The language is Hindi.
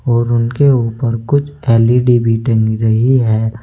और उनके ऊपर कुछ एल_इ_डी भी टंग रही है।